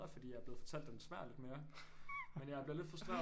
Fordi jeg er blevet fortalt at den smager af lidt mere men jeg bliver lidt frustreret